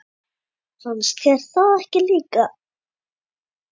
Fannst þér það ekki líka?